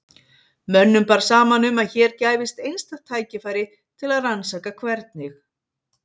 Mönnum bar saman um að hér gæfist einstakt tækifæri til að rannsaka hvernig